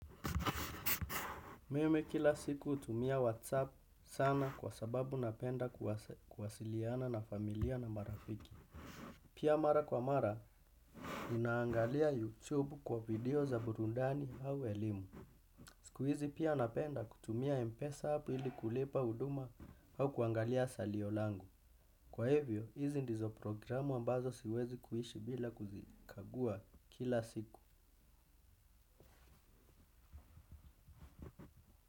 Mimi kila siku hutumia WhatsApp sana kwa sababu napenda kuwasiliana na familia na marafiki. Pia mara kwa mara, ninaangalia YouTube kwa video za burudani au elimu. Siku hizi pia napenda kutumia mpesa app ili kulipa huduma au kuangalia salio langu. Kwa hivyo, hizi ndizo programu ambazo siwezi kuishi bila kuzikagua kila siku.